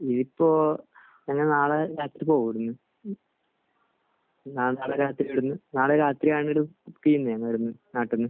ഇത് ഇപ്പോൾ ഞാൻ നാളെ പോകും. നാളെ രാത്രിയാണ് നാട്ടിൽ നിന്ന്